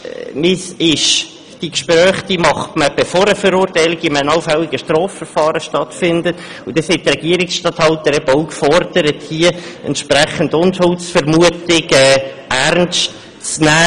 Diese Gespräche führt man aber bereits vor einer allfälligen Verurteilung in einem Strafverfahren, und deshalb sind die Regierungsstatthalter auch gefordert, hierbei die Unschuldsvermutung ernst zu nehmen.